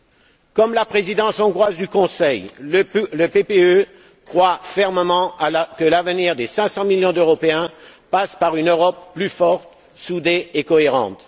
Tout comme la Présidence hongroise du Conseil, le groupe PPE croit fermement que l'avenir des cinq cents millions d'Européens passe par une Europe plus forte, soudée et cohérente.